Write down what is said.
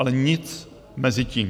Ale nic mezi tím.